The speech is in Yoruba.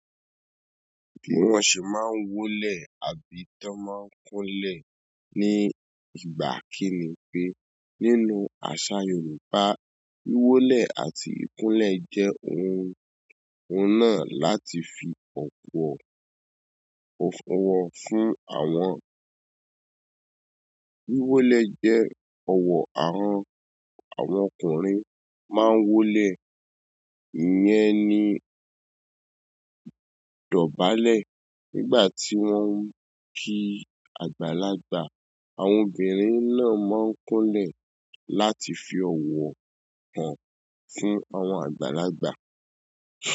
Wọn sì máa ń wólẹ̀ àbí tí wọ́n máa ń kúnlẹ̀ ní ìgbà kìn-ín-ní. Nínú àṣà Yorùbá, wíwólẹ̀ àti ìkúnlẹ̀ jẹ́ ohun, ohun náà láti fi ọkọ, ọkọ fún àwọn. Wíwólẹ̀ jẹ́ ọ̀wọ́ àwọn, àwọn ọkùnrin máa ń wólẹ̀, ìyẹn ni dọ̀bálẹ̀ nígbà tí wọ́n ń ki àgbàlagbà. Àwọn obìnrin náà máa ń kúnlẹ̀ láti fi ọ̀wọ̀ hàn fún àwọn àgbàlagbà.